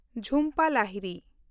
Jhumpa Lahiri